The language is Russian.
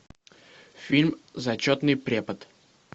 фильм зачетный препод